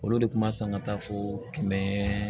Olu de kun ma san ka taa fo kɛmɛ